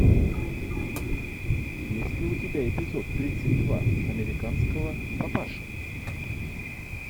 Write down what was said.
есть ли у тебя эпизод тридцать два американского папаши